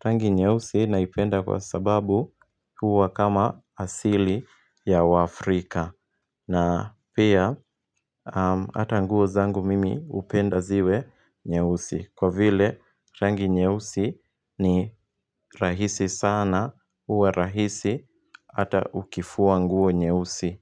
Rangi nyeusi naipenda kwa sababu huwa kama asili ya waafrika. Na pia, ata nguo zangu mimi upenda ziwe nyeusi Kwa vile rangi nyeusi ni rahisi sana, huwa rahisi ata ukifua nguo nyeusi.